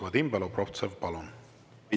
Vadim Belobrovtsev, palun!